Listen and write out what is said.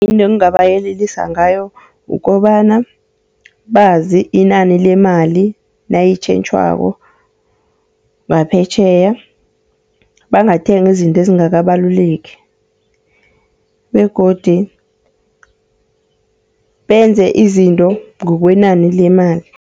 Into engingabayelelisa ngayo kukobana bazi inani lemali nayitjhentjhwako ngaphetjheya. Bangathengi izinto ezingakabaluleki, begodu benze izinto ngokwenani lemali.